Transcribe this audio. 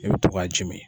I bɛ to k'a ji mi